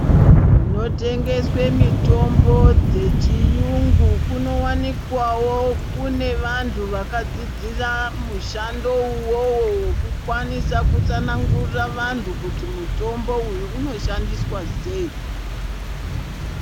Kunotengeswe mitombo yechiyungu kunowanikwawo kune vantu vakadzidzira mushando uwowo wekukwanisa kutsanangurira vantu kuti mutombo uyu unoshandiswa sei.